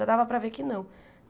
Já dava para ver que não.